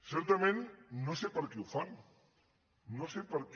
certament no sé per què ho fan no sé per què